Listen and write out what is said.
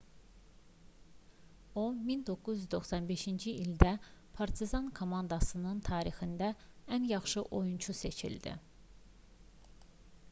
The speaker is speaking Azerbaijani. o 1995-ci ildə partizan komandasının tarixində ən yaxşı oyunçu seçildi